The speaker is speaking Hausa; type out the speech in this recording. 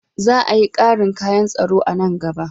Za a yi ƙarin kayan tsaro a nan gaba.